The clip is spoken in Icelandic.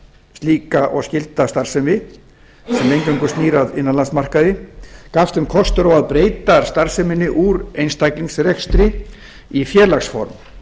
slíka og skylda starfsemi sem eingöngu snýr að innanlandsmarkaði gafst þeim kostur á að breyta starfseminni úr einstaklingsrekstri í félagsform